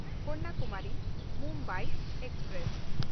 ᱠᱚᱱᱱᱟᱠᱩᱢᱟᱨᱤ–ᱢᱩᱢᱵᱟᱭ express